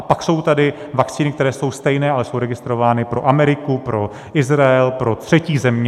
A pak jsou tady vakcíny, které jsou stejné, ale jsou registrovány pro Ameriku, pro Izrael, pro třetí země.